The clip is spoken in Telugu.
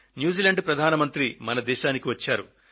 న్యూజీలాండ్ ప్రధాని మన దేశానికి వచ్చారు